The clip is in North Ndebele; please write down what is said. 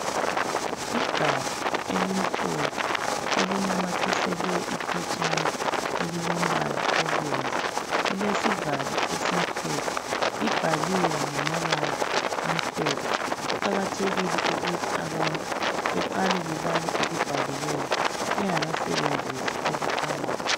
Igabha elimhlophe, elinamathiselwe iphetshana elilombala obomvu, lilesivalo esimhlophe, libhaliwe ngamabala amhlophe. Kuqakathekile ukuthi abantu beqale bebale okubhaliweyo bengakasebenzisi okuphakathi.